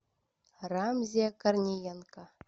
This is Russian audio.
рамзия корниенко